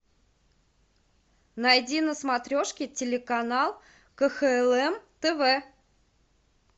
найди на смотрешке телеканал кхлм тв